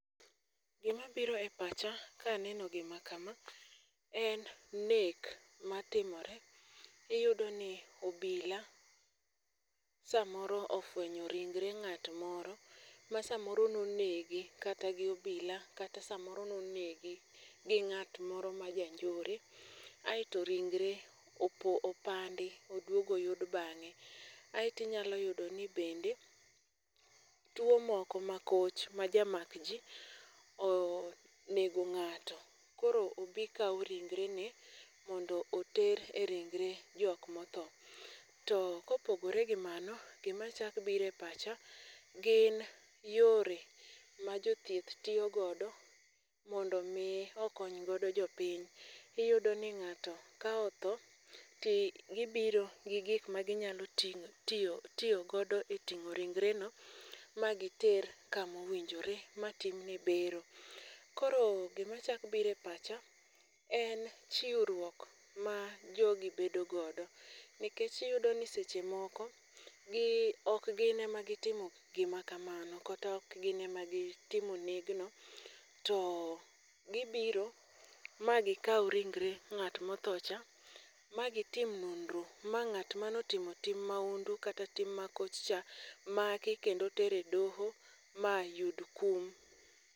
Gimabiro e pacha kaneno gima kama en nek matimore. Iyudoni obila samoro ofuenyo ringre ng'at moro ma samoro nonegi kata gi obila kata samoro nonegi gi ng'at moro majanjore ae to ringre opandi oduog oyud bang'e. Ae tinyalo yudoni bende tuo moko makoch majamak jii onego ng'ato koro obii kau ringre ne mondo oter e ringre jok mothoo. To kopogore gi mano gimachak bire pacha gin yore ma jothieth tiyo godo mondo mii okony godo jopiny. Iyudoni ng'ato ka otho ti gibiro gi gik maginyalo tiyo godo e ting'o ringreni ma giter kamowinjore matimne bero. Koro gima chak bire pacha en chiuruok ma jogi bedo godo nikech iyudoni seche moko okgine magitimo gima kamano kata okgine ma gitimo negno to gibiro ma gikau ringre ng'at mothoo cha ma gitim nonro ma ng'at manotimo tim maundu kata tim ma kochcha maki kendo tere doho mayud kum.